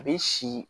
A bɛ si